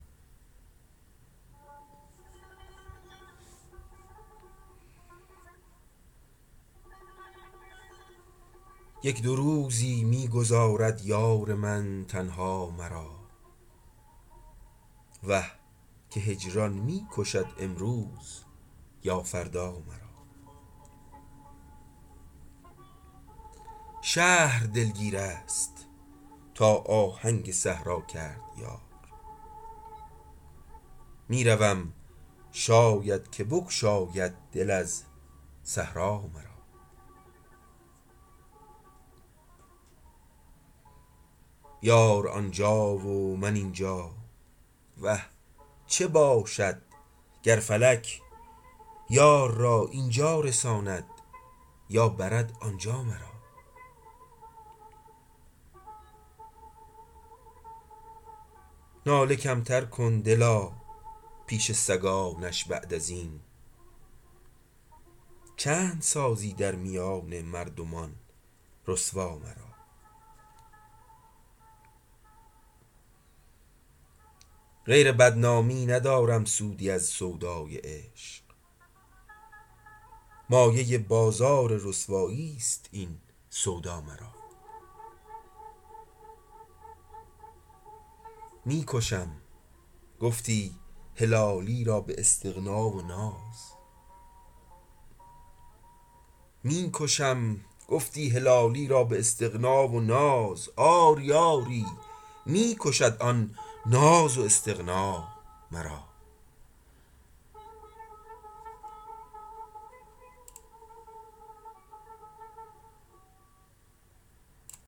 یک دو روزی می گذارد یار من تنها مرا وه که هجران می کشد امروز یا فردا مرا شهر دلگیرست تا آهنک صحرا کرد یار میروم شاید که بگشاید دل از صحرا مرا یار آنجا و من این جا وه چه باشد گر فلک یار را این جا رساند یا برد آنجا مرا ناله کمتر کن دلا پیش سگانش بعد ازین چند سازی در میان مردمان رسوا مرا غیر بدنامی ندارم سودی از سودای عشق مایه بازار رسواییست این سودا مرا می کشم گفتی هلالی را باستغنا و ناز آری آری می کشد آن ناز و استغنا مرا